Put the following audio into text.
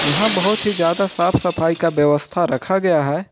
यहां बहुत ही ज्यादा साफ सफाई का व्यवस्था रखा गया है।